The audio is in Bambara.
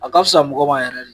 A ka fisa mɔgɔ ma yɛrɛ len.